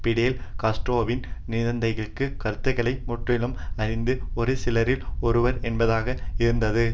பிடெல் காஸ்ட்ரோவின் சிந்தனைகள் கருத்துக்களை முற்றிலும் அறிந்த ஒரு சிலரில் ஒருவர் என்பதாக இருந்தது